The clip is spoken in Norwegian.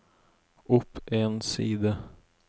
opp en side